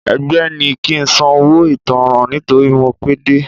Ẹgbẹ́ ní kí ń san owó ìtanràn nítorí mo pé dé.